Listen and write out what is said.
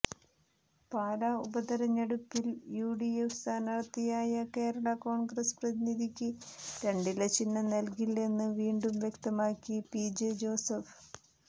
പാലാ ഉപതിരഞ്ഞെടുപ്പിൽ യുഡിഎഫ് സ്ഥാനാര്ത്ഥിയായ കേരള കോൺഗ്രസ് പ്രതിനിധിക്ക് രണ്ടില ചിഹ്നം നൽകില്ലെന്ന് വീണ്ടും വ്യക്തമാക്കി പിജെ ജോസഫ്